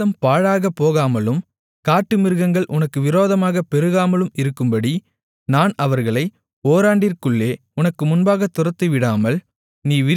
தேசம் பாழாகப்போகாமலும் காட்டுமிருகங்கள் உனக்கு விரோதமாகப் பெருகாமலும் இருக்கும்படி நான் அவர்களை ஓராண்டிற்குள்ளே உனக்கு முன்பாக துரத்திவிடாமல்